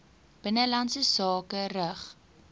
binnelandse sake rig